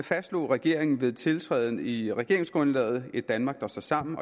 fastslog regeringen ved sin tiltræden i regeringsgrundlaget et danmark der står sammen